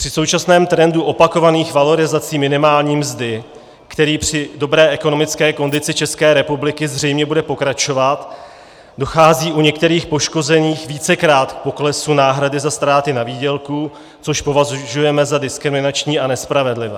Při současném trendu opakovaných valorizací minimální mzdy, který při dobré ekonomické kondici České republiky zřejmě bude pokračovat, dochází u některých poškozených vícekrát k poklesu náhrady za ztráty na výdělku, což považujeme za diskriminační a nespravedlivé.